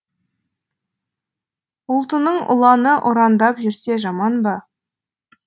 ұлтының ұланы ұрандап жүрсе жаман ба